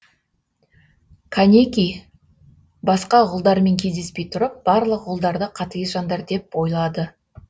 канеки басқа ғұлдармен кездеспей тұрып барлық ғұлдарды қатігез жандар деп ойлады